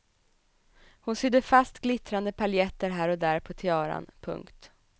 Hon sydde fast glittrande paljetter här och där på tiaran. punkt